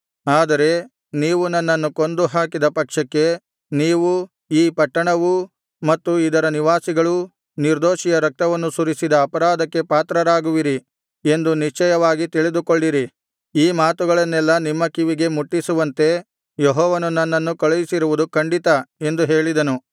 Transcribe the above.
ಆದರೆ ನೀವು ನನ್ನನ್ನು ಕೊಂದು ಹಾಕಿದ ಪಕ್ಷಕ್ಕೆ ನೀವೂ ಈ ಪಟ್ಟಣವೂ ಮತ್ತು ಇದರ ನಿವಾಸಿಗಳೂ ನಿರ್ದೋಷಿಯ ರಕ್ತವನ್ನು ಸುರಿಸಿದ ಅಪರಾಧಕ್ಕೆ ಪಾತ್ರರಾಗುವಿರಿ ಎಂದು ನಿಶ್ಚಯವಾಗಿ ತಿಳಿದುಕೊಳ್ಳಿರಿ ಈ ಮಾತುಗಳನ್ನೆಲ್ಲಾ ನಿಮ್ಮ ಕಿವಿಗೆ ಮುಟ್ಟಿಸುವಂತೆ ಯೆಹೋವನು ನನ್ನನ್ನು ಕಳುಹಿಸಿರುವುದು ಖಂಡಿತ ಎಂದು ಹೇಳಿದನು